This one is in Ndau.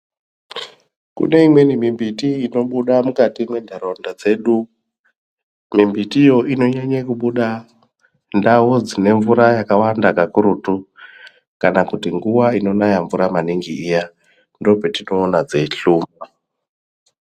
Kune imweni mimbiti inobuda mukati mwenharaunda dzedu. Mumbiti yo inonyanya kubuda ndau dzine mvura yakawanda kakurutu kana kuti nguwa inonaya maningi mvura iyaa. Ndopetinoona dzeihluma.